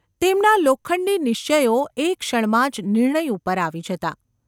તેમના લોખંડી નિશ્ચયો એક ક્ષણમાં જ નિર્ણય ઉપર આવી જતા.